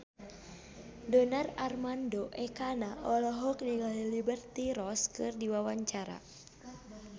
Donar Armando Ekana olohok ningali Liberty Ross keur diwawancara